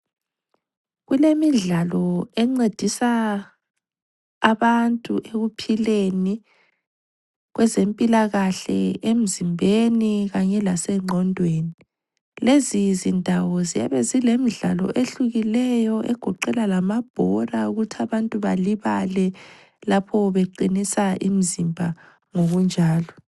Kulemidlalo encedisa abantu ekuphileni, kwenzempilakahle, emzimbeni kanye lasengqondweni. Lezi zindawo ziyabe zilemidlalo ehlukileyo egoqela lamabhola okuthi abantu balibale lapho beqinisa imizimba ngokunjalo.